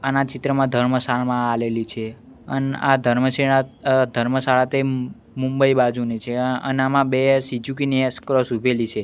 આના ચિત્રમાં ધર્મશાળા મા આલેલી છે અન આ ધર્મશેડા અ ધર્મશાળા તે મુંબઈ બાજુની છે અન આમાં બે સિઝુકી ની એસ ક્રોસ ઊભેલી છે.